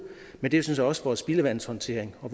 men det er sådan set også vores spildevandshåndtering og